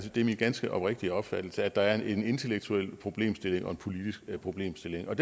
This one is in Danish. det er min ganske oprigtige opfattelse at der er en intellektuel problemstilling og en politisk problemstilling og